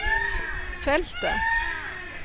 feltet